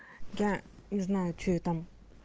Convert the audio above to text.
я не знаю что я там